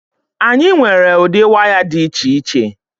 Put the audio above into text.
Anyị nwere ụdị waya dị iche iche.